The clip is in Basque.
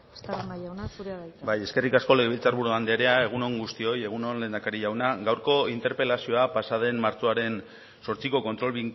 estarrona jauna zurea da hitza bai eskerrik asko legebiltzar buru andrea egun on guztioi egun on lehendakari jauna gaurko interpelazioa pasaden martxoaren zortziko kontrol